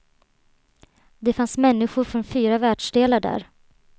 Det fanns människor från fyra världsdelar där.